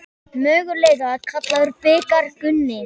Mögulega kallaður bikar Gunni?